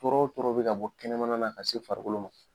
Tɔɔrɔ o tɔɔrɔ bɛ ka bɔ kɛnɛmana na ka se farikolo ma